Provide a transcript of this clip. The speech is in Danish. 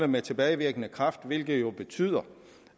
med tilbagevirkende kraft hvilket betyder